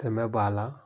Dɛmɛ b'a la